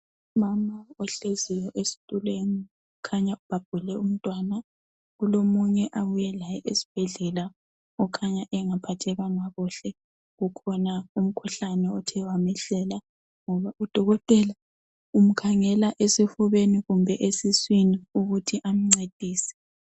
Umama ohleziyo esitulweni ukhanya ubhabhule umntwana kulomunye abuye laye esibhedlela okhanya engaphathekanga kuhle ukhona umkhuhlane othe wamehlela ngoba udokotela umkhangela esifubeni kumbe esiswini ukuthi amncedise.